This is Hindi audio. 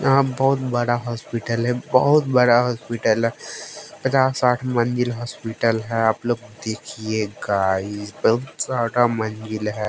यहां बहुत बड़ा हॉस्पिटल है बहोत बड़ा हॉस्पिटल है पचास साठ मंजिल हॉस्पिटल है आप लोग देखिए गाइस बहुत सारा मंजिल है।